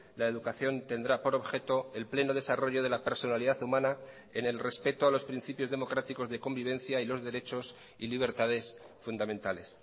la educación tendrá por objeto el pleno desarrollo de la personalidad humana en el respeto a los principios democráticos de convivencia y los derechos y libertades fundamentales